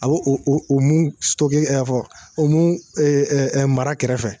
A bɛ o o o mun o mun mara kɛrɛfɛ.